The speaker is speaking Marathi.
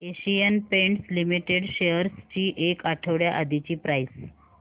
एशियन पेंट्स लिमिटेड शेअर्स ची एक आठवड्या आधीची प्राइस